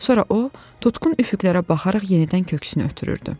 Sonra o tutqun üfüqlərə baxaraq yenidən köksünü ötürürdü.